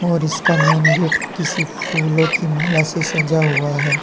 और इसका main gate किसी फूलों की माला से सजा हुआ है।